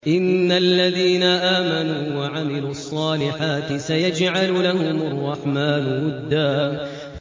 إِنَّ الَّذِينَ آمَنُوا وَعَمِلُوا الصَّالِحَاتِ سَيَجْعَلُ لَهُمُ الرَّحْمَٰنُ وُدًّا